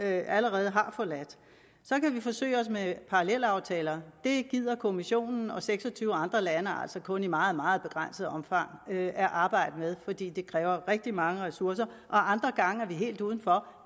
allerede har forladt så kan vi forsøge os med parallelaftaler det gider kommissionen og seks og tyve andre lande altså kun i meget meget begrænset omfang at arbejde med fordi det kræver rigtig mange ressourcer og andre gange er vi helt uden for